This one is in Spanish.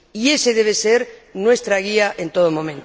Y ésa debe ser nuestra guía en todo momento.